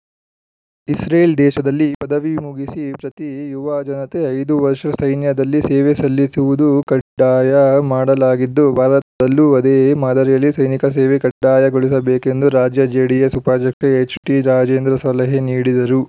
Israel ದೇಶದಲ್ಲಿ ಪದವಿ ಮುಗಿಸಿ ಪ್ರತಿ ಯುವ ಜನತೆ ಐದು ವರ್ಷ ಸೈನ್ಯದಲ್ಲಿ ಸೇವೆ ಸಲ್ಲಿಸುವುದು ಕಡ್ಡಾಯ ಮಾಡಲಾಗಿದ್ದು ಭಾರತದಲ್ಲೂ ಅದೇ ಮಾದರಿಯಲ್ಲಿ ಸೈನಿಕ ಸೇವೆ ಕಡ್ಡಾಯಗೊಳಿಸಬೇಕೆಂದು ರಾಜ್ಯ ಜೆಡಿಎಸ್‌ ಉಪಾಧ್ಯಕ್ಷ ಎಚ್‌ಟಿರಾಜೇಂದ್ರ ಸಲಹೆ ನೀಡಿದರು